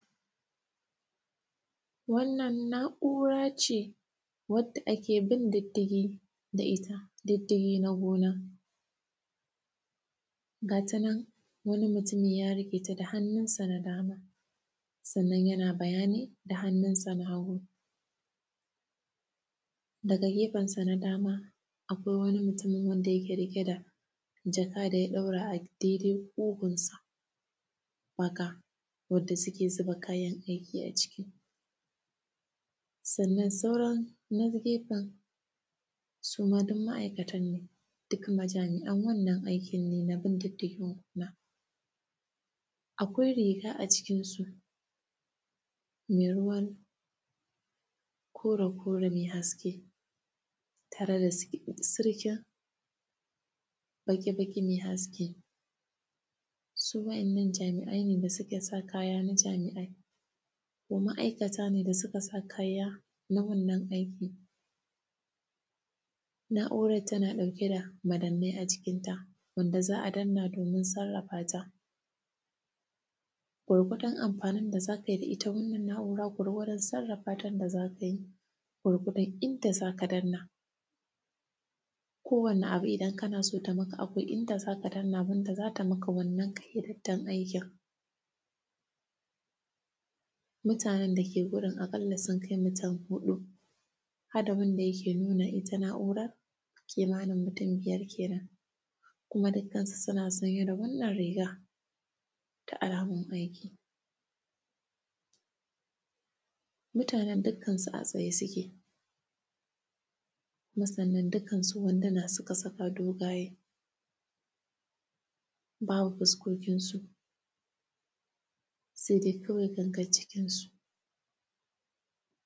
Wannan, na’ura ce wadda ake bin diddigi da ita, diddigi na gona. Ga ta nan, wani mutumi ya rufe ta da hannunsa na dama, sannan yana bayani da hannunsa na hagu. Daga gefensa na dama, akwai wani mutumi wanda rake riƙe da jaka da ya ɗaura a daidai ƙugunsa, wato, wadda sike ziba kayan aiki a ciki. Sannan, sauran na gefen, su ma dum ma’aikatan ne, dik majami’an wannan aikin ne na bin diddigin gona. Akwai riga a jikinsu, me ruwan kore-kore me haske tare da sir; sirkin baƙi-baƙi me haske. Su wa’yannan jami’ai ne da sika sa kaya na jami’ai ko ma’aikata ne da sika sa kaya na wannan aiki. Na’urar tana ɗauke da madannai a jikinta, wanda za a danna domin sarrafa ta. Gwargwadon amfanin da za kai da ita wannan na’uran kur wajan sarrafatan da za ku yi ko kuma inda za ka danna. Kowane abu idan kana so ta maka abu inda za ka danna gun da za ta maka wannan hirittan aikin. Mutanen da ke gurin aƙalla sun kai utun huɗu had da wanda yake nuna ita na’urar, kimanin mutun biyar kenan, kuma dikkansu suna sanye da wannan riga ta alamun aiki. Mutanen dukkansu a tsaye suke. Kuma, sannan dukkansu wanduna suka saka dogaye, babu fuskokinsu, sede kawai gangan jikinsu.